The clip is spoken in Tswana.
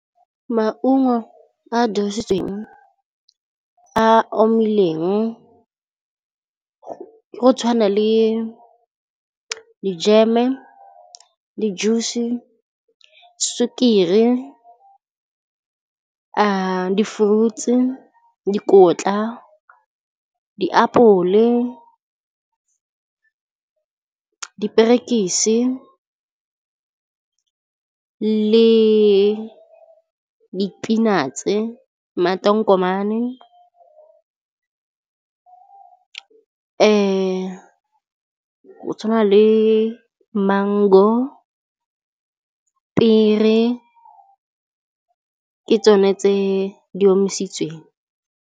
Maungo a dirisitsweng a omileng go tshwana le dijeme le juice, sukiri, di-fruits, dikotla, diapole, diperekisi le di-peanuts-e, matonkomane , go tshwana le mango, pear-e ke tsone tse di omisitsweng.